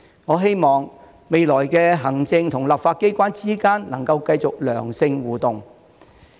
我希望，未來行政和立法機關之間能繼續良性的互動。